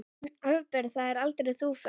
Afber það aldrei, þú ferð.